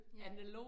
Ja